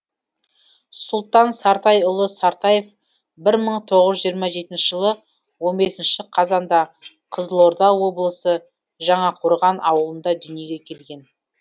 сұлтан сартайұлы сартаев бір мың тоғыз жүз жиырма жетінші жылы он бес қазанда қызылорда облысы жаңақорған ауылында дүниеге келген